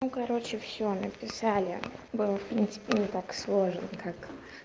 ну короче всё написали было в принципе не так сложен как